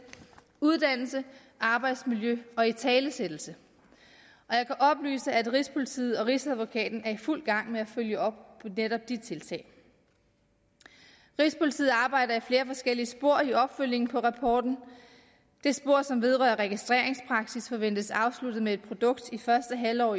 uddannelse arbejdsmiljø og italesættelse jeg kan oplyse at rigspolitiet og rigsadvokaten er i fuld gang med at følge op på netop de tiltag rigspolitiet arbejder i flere forskellige spor med opfølgning på rapporten det spor som vedrører registreringspraksis forventes afsluttet med et produkt i første halvår